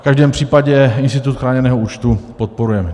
V každém případě institut chráněného účtu podporujeme.